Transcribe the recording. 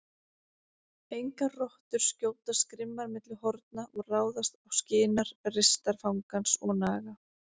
Engar rottur skjótast grimmar milli horna og ráðast á skinar ristar fangans og naga.